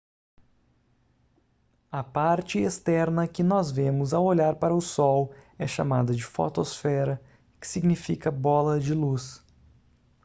a parte externa que nós vemos ao olhar para o sol é chamada de fotosfera que significa bola de luz